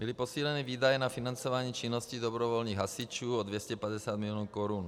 Byly posíleny výdaje na financování činnosti dobrovolných hasičů o 250 milionů korun.